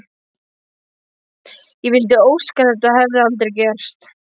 Ég vildi óska að þetta hefði aldrei gerst.